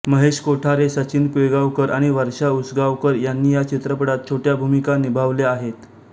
महेश कोठारे सचिन पिळगांवकर आणि वर्षा उसगावकर यांनी या चित्रपटात छोट्या भूमिका निभावल्या आहेत